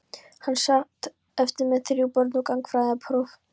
Hún sat eftir með þrjú börn og gagnfræðapróf.